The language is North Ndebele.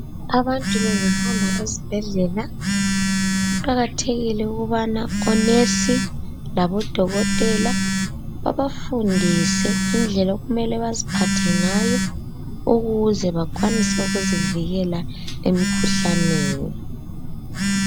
Abantu bengahamba esibhedlela, kuqakathekile ukubana onesi labodokotela babafundise indlela okumele baziphathe ngayo ukuze bakwanise ukuzivikela emikhuhlaneni.